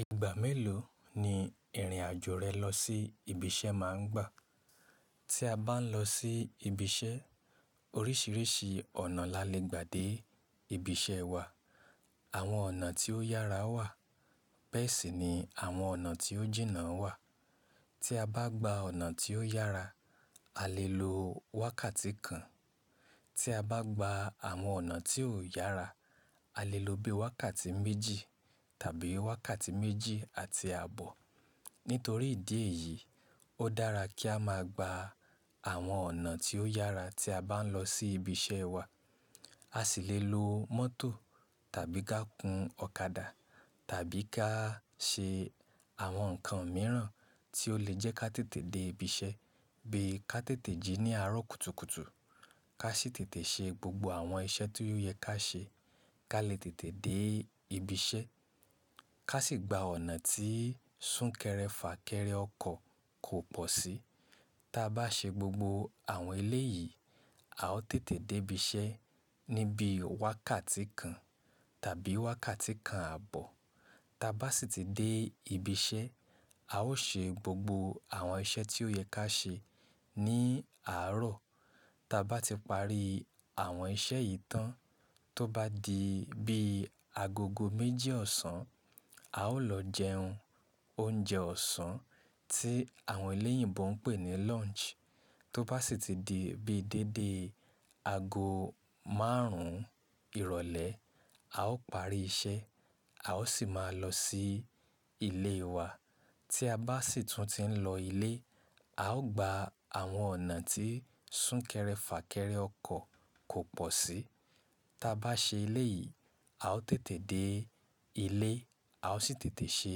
Ìgbà mélòó ni ìrìn àjò rẹ lọ sí ibi iṣẹ́ máa ń gbà? Tí a bá ń lọ sí ibi iṣẹ́, oríṣiríṣi ọ̀nà la le gbà dé ibi iṣẹ́ wa. Àwọn ọ̀nà tí ó yára wà, bẹ́ẹ̀ sì ni àwọn ọ̀nà tí ó jìnnà wà. Tí a bá gba ọ̀nà tí ó yára, a lè lo wákàtí kan. Tí a bá gba àwọn ọ̀nà tí ò yára, a lè lo bí i wákàtí méjì tàbí wákàtí méjì àti ààbọ̀. Nítorí ìdí èyí, ó dára kí a máa gba àwọn ọ̀nà tí ó yára tí a bá ń lọ sí ibi iṣẹ́ wa. A sì lè lo mọ́tò tàbí ká gun ọ̀kadà tàbí ká ṣe àwọn nǹkan mìíràn tí ó lè jẹ́ kí a tètè dé ibi iṣẹ́ bí i ká tètè jí ní àárọ̀ kùtùkùtù, ká sì tètè ṣe gbogbo àwọn iṣẹ́ tí ó yẹ ká ṣe, ká lè tètè dé ibi iṣẹ́, ká sì gba ọ̀nà tí súnkẹrẹ fàkẹrẹ ọkọ̀ kò pọ̀ sí. Tí a bá ṣe gbogbo àwọn eléyìí, a ó tètè dé ibi iṣẹ́ ní bí i wákàtí kan tàbí wákàtí kan ààbọ̀. Tí a bá sì ti dé ibi iṣẹ́, a ó ṣe gbogbo àwọn iṣẹ́ tí ó yẹ ká ṣe ní àárọ̀. Tí a bá ti parí àwọn iṣẹ́ yìí tán, tó bá di bí i agogo méjì ọ̀sán, a ó lọ jẹun, oúnjẹ ọ̀sán tí àwọn eleyinbo ń pè ní lunch. Tó bá sì ti di bí i déédé ago máàrún ìrọ̀lẹ́, a ó parí iṣẹ́, a ó sì máa lọ sí ilé wa. Tí a bá sì tún ti ń lọ ilé, a ó gba àwọn ọ̀nà tí súnkẹrẹ fà kẹrẹ ọkọ̀ kò pọ̀ sí. Tí a bá ṣe eléyìí, a ó tètè dé ilé, a ó sì tètè ṣe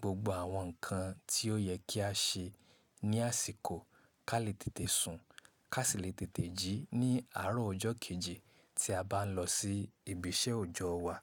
gbogbo àwọn nǹkan tí ó yẹ kí a ṣe ní àsìkò, ká lè tètè sùn, ká sì lè tètè jí ní àárọ̀ ọjọ́ kejì tí a bá ń lọ sí ibi iṣẹ́ ọjọ́ wa.